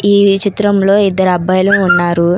ఈ చిత్రంలో ఇద్దరు అబ్బాయిలు ఉన్నారు.